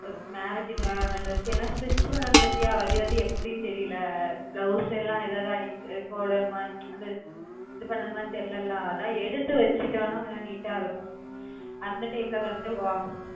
ஒரு marriage காண dress ஏன்னா stritch பண்ணனும் பார்த்தியா அது வந்து எப்பிடின்னு தெரியல blouse எல்லாம் ஏதாவது போடணுமா இது பண்ணனுமா தெரியல அதாவது எடுத்து வெச்சுட்டோம்ன்னா கொஞ்சம் neat இருக்கும் அந்த time ல